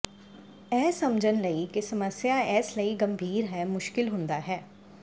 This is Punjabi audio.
ਇਹ ਸਮਝਣ ਲਈ ਕਿ ਸਮੱਸਿਆ ਇਸ ਲਈ ਗੰਭੀਰ ਹੈ ਮੁਸ਼ਕਲ ਹੁੰਦਾ ਹੈ